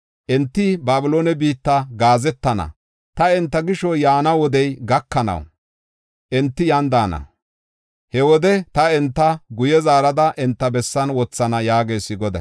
Enti Babiloone biitta gaazetana; ta enta gisho yaana wodey gakanaw, enti yan daana. He wode ta enta guye zaarada enta bessan wothana” yaagees Goday.